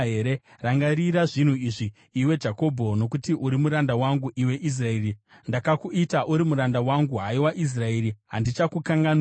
“Rangarira zvinhu izvi, iwe Jakobho, nokuti uri muranda wangu, iwe Israeri. Ndakakuita, uri muranda wangu; haiwa Israeri, handichakukanganwizve.